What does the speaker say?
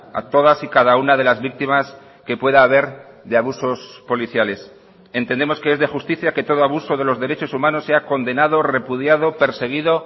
a todas y cada una de las víctimas que pueda haber de abusos policiales entendemos que es de justicia que todo abuso de los derechos humanos sea condenado repudiado perseguido